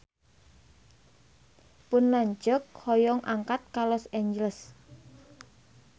Pun lanceuk hoyong angkat ka Los Angeles